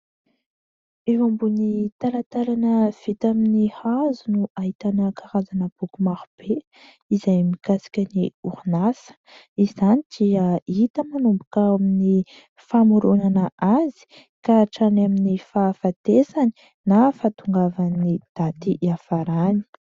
Eo ambony talatalana vita amin'ny hazo no ahitana karazana boky maro be izay mikasika ny orinasa ; izany dia hita manomboka eo amin'ny famoronana azy ka hatrany amin'ny fahafatesany na fahatongavan'ny daty hiafarany.